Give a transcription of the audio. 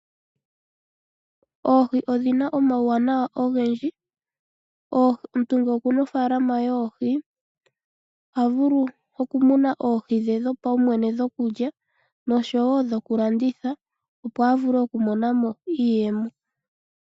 Oohi odhina omauwanawa ogendji nomuntu ngele okuna ofalama ye yoohi yopaumwene ohavulu okumuna oohi dhe dhopaumwene dhokulya nosho woo dhokulanditha opo avule okumonamo iiyemo.